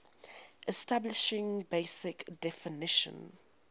establishing basic definition